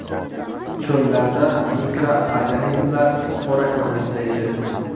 Cho‘llarda mikroorganizmlar spora ko‘rinishida yashaydi.